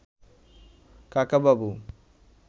কাকাবাবু